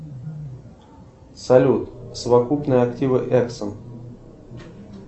салют совокупные активы эксон